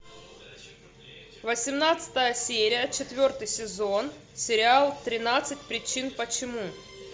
восемнадцатая серия четвертый сезон сериал тринадцать причин почему